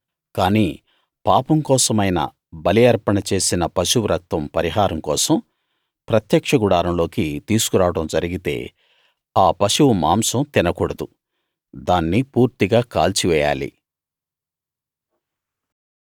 కానీ పాపం కోసమైన బలి అర్పణ చేసిన పశువు రక్తం పరిహారం కోసం ప్రత్యక్ష గుడారం లోకి తీసుకు రావడం జరిగితే ఆ పశువు మాంసం తినకూడదు దాన్ని పూర్తిగా కాల్చి వేయాలి